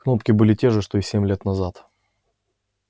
кнопки были те же что и семь лет назад